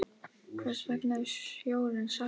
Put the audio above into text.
Hvers vegna er sjórinn saltur?